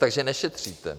Takže nešetříte.